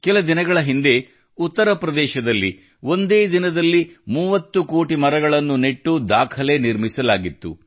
ಕೆಲ ದಿನಗಳ ಹಿಂದೆ ಉತ್ತರ ಪ್ರದೇಶದಲ್ಲಿ ಒಂದೇ ದಿನದಲ್ಲಿ 30 ಕೋಟಿ ಮರಗಳನ್ನು ನೆಟ್ಟು ದಾಖಲೆ ನಿರ್ಮಿಸಲಾಗಿತ್ತು